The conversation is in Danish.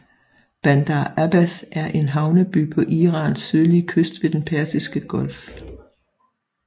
Bandar Abbas er en havneby på Irans sydlige kyst ved Den Persiske Golf